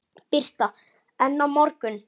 Birta: En á morgun?